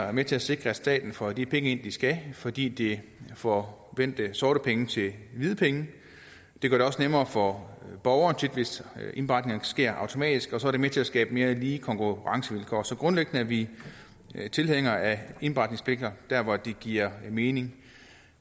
er med til at sikre at staten får de penge ind den skal fordi det får vendt sorte penge til hvide penge det gør det også nemmere for borgerne hvis indberetningen sker automatisk og så er det med til at skabe mere lige konkurrencevilkår så grundlæggende er vi tilhængere af indberetningspligter der hvor de giver mening